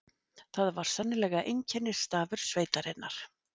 Það var sennilega einkennisstafur sveitarinnar.